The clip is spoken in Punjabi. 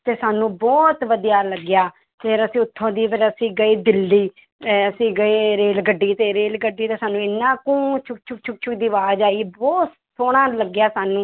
ਤੇ ਸਾਨੂੰ ਬਹੁਤ ਵਧੀਆ ਲੱਗਿਆ, ਫਿਰ ਅਸੀਂ ਉੱਥੋਂ ਦੀ ਫਿਰ ਅਸੀਂ ਗਏ ਦਿੱਲੀ, ਅਸੀਂ ਗਏ ਰੇਲ ਗੱਡੀ ਤੇ ਰੇਲ ਗੱਡੀ ਤੇ ਸਾਨੂੰ ਇੰਨਾ ਕੁ ਛੁੱਕ ਛੁੱਕ ਛੁੱਕ ਛੁੱਕ ਦੀ ਆਵਾਜ਼ ਆਈ ਬਹੁਤ ਸੋਹਣਾ ਲੱਗਿਆ ਸਾਨੂੰ